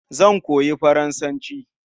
Zan koyi Faransanci.